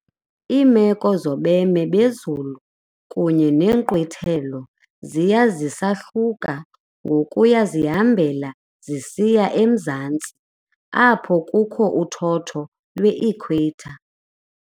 Iimeko zobeme bezulu kunye neenkqwithelo ziya zisahluka ngokuya zihambela zisiya emzantsi, apho kukho uthotho lwe-equator.